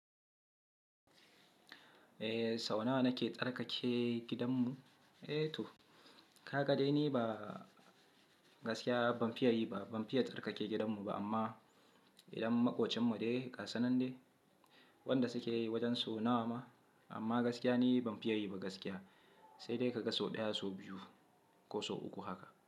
Eh, sau nawa nake tsarkake gidanmu? Eh to, ka ga dai ni ba gaskiya ban fiye yi ba, ban fiye tsarkake gidanmu ba amma Idan maƙocinmu dai gasinan de, wanda suke yi wajen sau nawa ma. Amma gaskiya ni ban fiye yi ba gaskiya, sai dai ka ga sau ɗaya, sau biyu ko sau uku haka.